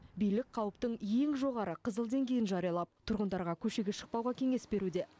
билік қауіптің ең жоғары қызыл деңгейін жариялап тұрғындарға көшеге шықпауға кеңес беруде